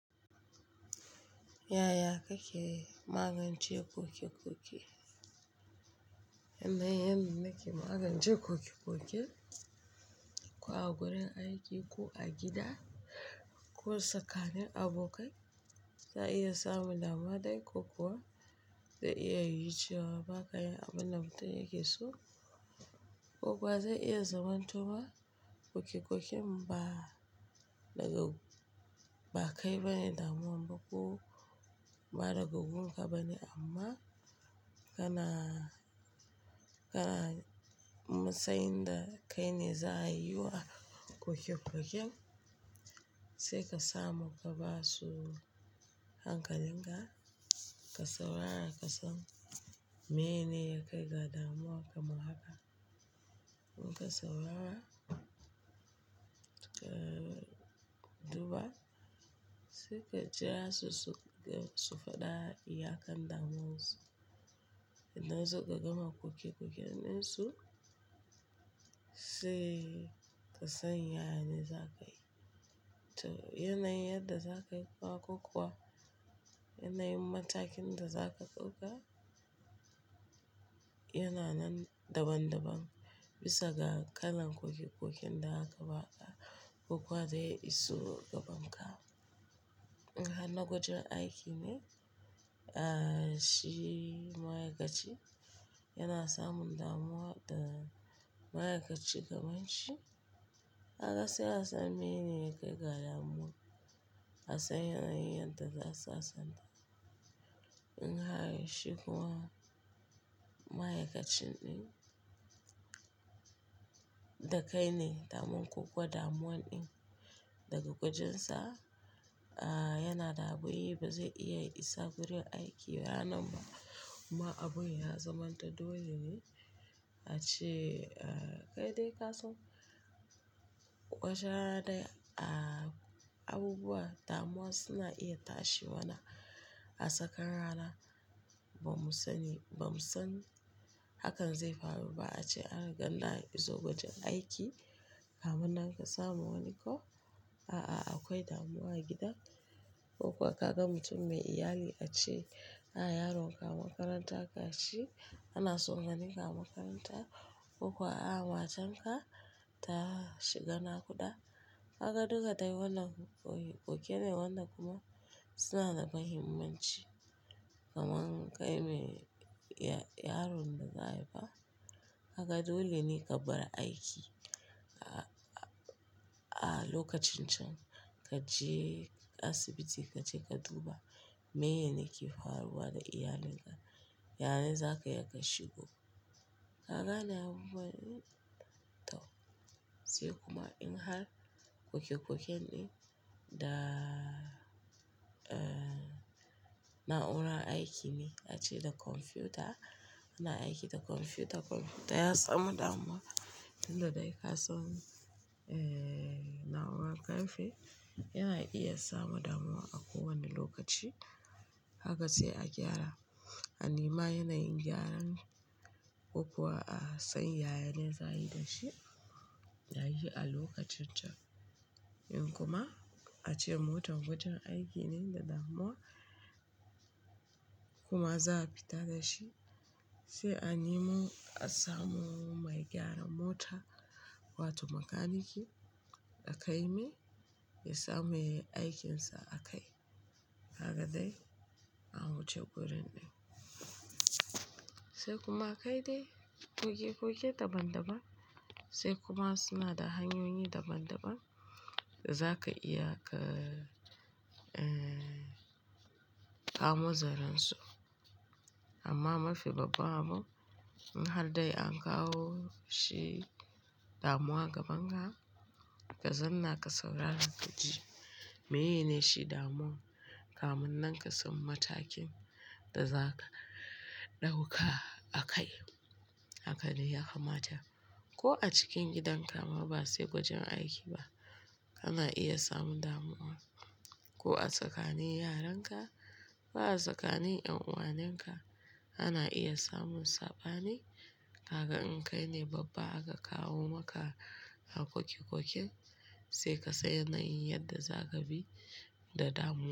Yaya kake magance kokekoke? Amma yan da ke magance kokekoken, ko a wurin aiki ko a gida ko tsakanin abokai, za iya samun damuwa dai ko kuwa za iya yiciwa bakai abin da mutum yake so. Ko kuwa za iya zaman tofa kokekoken ba daga ba kai bane damuwa, ko ba daga gungun ka bane amma kana, kana masayin da kai ne za a yi wa kokekoken. Sai ka samu gabasu hankalin ka, ka saurara ka san mene yake gada damuwa kamar haka. In ka saurara, ka duba sai ka jira su, su faɗa iyakan damuwansu. Idan suka gama kokekoken dinsu, sai ka san yanayin za ka yi. To yanayin yadda za ka yi ba ko kuwa yanayin matakin da za ka ɗauka yana nan daban-daban bisa ga kalan kokikokin da aka ba a ko kuwa dai isowar gaban ka. In har na wajen aiki ne, ah shi ma'aikaci yana samun damuwa da ma'aikaci kaman shi. Kaga sai ka san mene yake gada damuwa. Ka san yanayin yadda za su sasanta. In har shi kuma ma'aikacin ɗin da kai ne damar ko kuwa damuwan ɗin daga kujinsa, ah yana da abin yi ba zai iya isa wurin aiki ba nan ba. Kuma abun ya zamanta dole ne a ce ah kai dai ka so wata rana dai ah abubuwa damuwa suna iya tashi wani a tsakar rana ba mu sani, ba mu san hakan zai faru ba a ce an ganda izo wajen aiki. Kamun nan ka samu wani ko, a'a akwai damuwa a gidan ko kuwa ka ga mutum mai iyali a ce, "A yaronka makaranta ka ci, ana tsoron ni ka makaranta." Ko kuwa, "A matarka ta shiga naƙuda." Kaga duka dai wannan kokekokene wannan kuma suna da muhimmanci kamar kai mai yaron da za a yi fa. Haka dole ne ka bar aiki a lokacin can ka je asibiti ka je ka duba mene yake faruwa da iyalin ka. Yanayin za ka iya ka shigo ka gane abubuwa ɗin. To sai kuma in har kokekoken ɗin da na'urar aiki ne a ce da kwamfuta, ana aiki da kwamfuta. Kwamfuta ya samu damuwa tunda dai ka so na'urar karfe yana iya samu damuwa a kowane lokaci. Haka sai a gyara. Anema yanayin gyaran ko kuwa a san yayane za a yi da shi. Da shi a lokacin can. In kuma a ce motar wajen aiki ne da damuwa kuma za a fita da shi sai an yi mo a samo mai gyaran mota wato makaniki da kai mai ya samu aikin sa a kai. Haka dai a wuce gurin ɗin. Sai kuma kai dai kokekoke daban-daban. Sai kuma suna da hanyoyi daban-daban da za ka iya ka kamo zaren su. Amma mafi babba mu in har dai an kawo shi damuwa gaban ka, ka zanna ka saurara ka ji meye shi damuwan. Kamun nan ka san matakin da za ka ɗauka a kai. Haka dai ya kamata ko a cikin gidanka ma ba sai wajen aiki ba ana iya samun damuwa. Ko a tsakanin yaran ka ko a tsakanin ƴan'uwanen ka ana iya samun saɓani. Kaga in kai ne babba aka kawo maka a kokekoken sai ka san yanayin yadda za ka bi da damuwa.